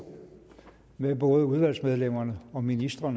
med både udvalgsmedlemmer og ministre